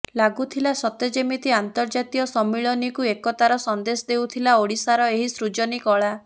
ଲାଗୁଥିଲା ସତେ ଯେମିତି ଅନ୍ତର୍ଜାତୀୟ ସମ୍ମିଳନୀକୁ ଏକତାର ସନ୍ଦେଶ ଦେଉଥିଲା ଓଡିଶାର ଏହି ସୃଜନୀ କଳା